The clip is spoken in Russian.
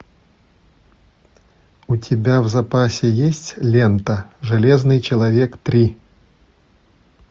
у тебя в запасе есть лента железный человек три